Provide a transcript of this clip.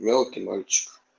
ёлки мальчик